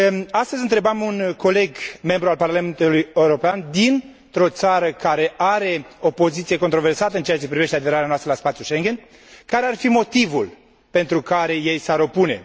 Astăzi întrebam un coleg, deputat în Parlamentului European dintr o țară care are o poziție controversată în ceea ce privește aderarea noastră la spațiul Schengen, care ar fi motivul pentru care ei s ar opune.